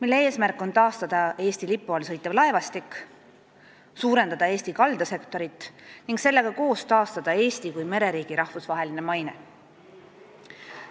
Eelnõu eesmärk on taastada Eesti lipu all sõitev laevastik, suurendada Eesti kaldasektorit ning sellega koos taastada Eesti kui mereriigi rahvusvaheline maine.